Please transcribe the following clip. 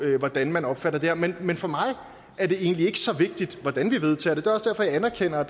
hvordan man opfatter det her men men for mig er det egentlig ikke så vigtigt hvordan vi vedtager det det er også derfor jeg anerkender